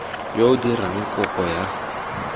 yo o dirang kopo ya